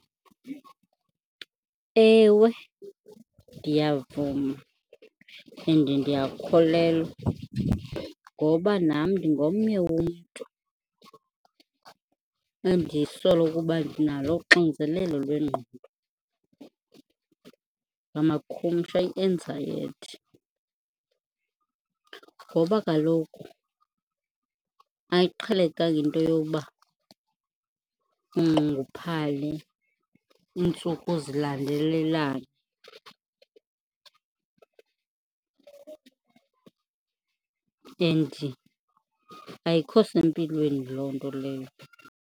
Ewe, ndiyavuma and ndiyakholelwa ngoba nam ndingomnye womntu endisola ukuba ndinalo uxinzelelo lwengqondo, ngamakhumsha i-anxiety. Ngoba kaloku ayiqhelekanga into yoba unxunguphale iintsuku zilandelelane and ayikho sempilweni loo nto leyo.